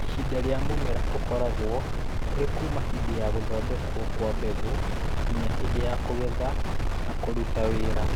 Ihinda ri͂a mumera u͂koragwo uri kuuma hi͂ndi͂ ya͂ gu͂thondekwo kwa mbegu͂ nginya hi͂ndi͂ ya͂ kugetha na ku͂ruta wi͂ra.